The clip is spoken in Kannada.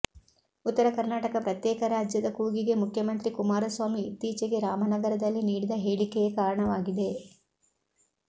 ಉತ್ತರ ಕರ್ನಾಟಕ ಪ್ರತ್ಯೇಕ ರಾಜ್ಯದ ಕೂಗಿಗೆ ಮುಖ್ಯಮಂತ್ರಿ ಕುಮಾರಸ್ವಾಮಿ ಇತ್ತೀಚೆಗೆ ರಾಮನಗರದಲ್ಲಿ ನೀಡಿದ ಹೇಳಿಕೆಯೇ ಕಾರಣವಾಗಿದೆ